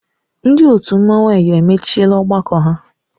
Ndị otu mmanwụ Eyọ emechiela ọgbakọ ha.